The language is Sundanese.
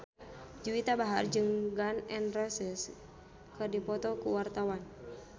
Juwita Bahar jeung Gun N Roses keur dipoto ku wartawan